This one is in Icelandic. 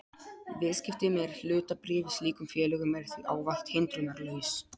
Viðskipti með hlutabréf í slíkum félögum er því ávallt hindrunarlaus.